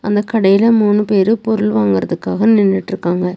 அந்த கடையில மூணு பேரு பொருள் வாங்குறதுக்காக நின்னுட்ருக்காங்க.